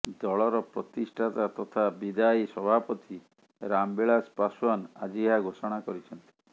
ଦଳର ପ୍ରତିଷ୍ଠାତା ତଥା ବିଦାୟୀ ସଭାପତି ରାମବିଳାସ ପାଶୱାନ ଆଜି ଏହା ଘୋଷଣା କରିଛନ୍ତି